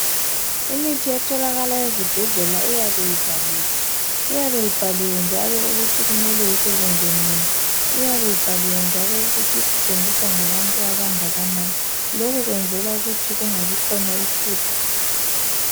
Imithi etholakala ezibhedlela iyabe ivaliwe. Iyabe ibhaliwe njalo ukuthi kumele isebenze nini. Iyabe ibhaliwe njalo ukuthi isetshenziswa ngabantu abangakanani. Lokhu kwenzelwa ukuthi kungabikhona iphutha.